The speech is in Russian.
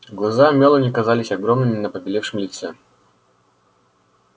глаза мелани казались огромными на побелевшем лице